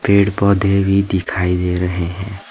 पेड़ पौधे भी दिखाई दे रहे हैं।